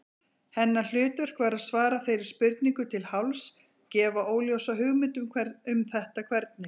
Hennar hlutverk var að svara þeirri spurningu til hálfs, gefa óljósa hugmynd um þetta hvernig.